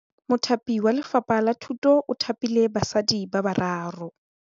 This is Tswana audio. Mothapi wa Lefapha la Thutô o thapile basadi ba ba raro.